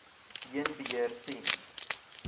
heen beheer ten